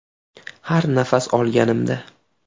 Har nafas olganimda.